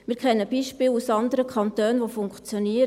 Wir kennen Beispiele aus anderen Kantonen, die funktionieren.